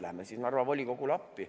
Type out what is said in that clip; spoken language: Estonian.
Läheme siis Narva volikogule appi.